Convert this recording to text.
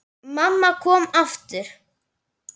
Mamma kom aftur.